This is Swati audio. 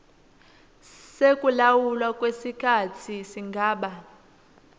sekulawulwa kwesikhatsi singaba